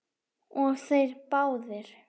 Og þeir báðir.